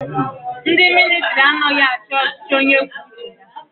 Ndi militari anaghi achi ọchichi onye kwuo uche ya